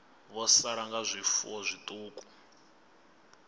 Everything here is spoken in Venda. vho sala nga zwifuwo zwiṱuku